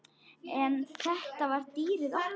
En þetta var dýrið okkar.